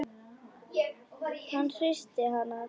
Hann hristir hana til.